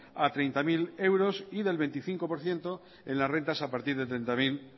a treinta mil euros y del veinticinco por ciento en las rentas a partir de treinta mil uno